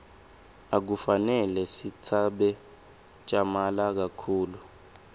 akufanele sitsabze tjamala kakhulu